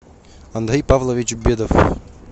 андрей павлович бедов